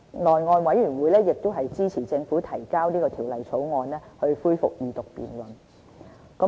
內務委員會亦支持政府提交這項《條例草案》，恢復二讀辯論。